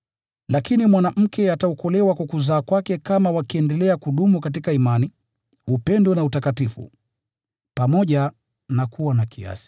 Lakini mwanamke ataokolewa kwa kuzaa kwake, kama wakiendelea kudumu katika imani, upendo na utakatifu, pamoja na kuwa na kiasi.